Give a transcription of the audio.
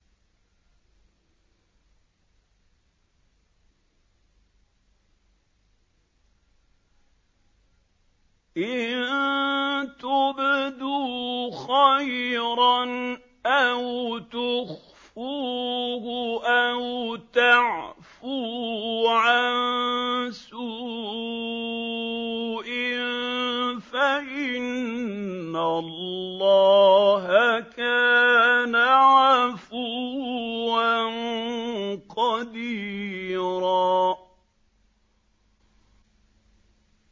إِن تُبْدُوا خَيْرًا أَوْ تُخْفُوهُ أَوْ تَعْفُوا عَن سُوءٍ فَإِنَّ اللَّهَ كَانَ عَفُوًّا قَدِيرًا